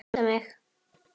Það kitlar mig.